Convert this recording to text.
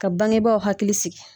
Ka baŋebaaw hakili sigi